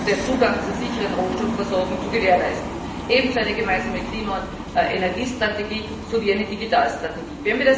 den Zugang zu sichern, Rohstoffversorgung zu gewährleisten ebenso eine gemeinsame Klima und Energiestrategie sowie eine digitale Strategie.